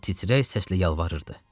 O titrək səslə yalvarırdı.